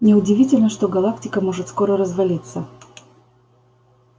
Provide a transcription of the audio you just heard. не удивительно что галактика может скоро развалиться